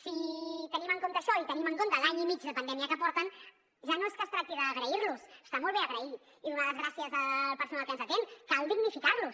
si tenim en compte això i tenim en compte l’any i mig de pandèmia que porten ja no és que es tracti d’agrair los ho està molt bé agrair i donar les gràcies al personal que ens atén cal dignificar los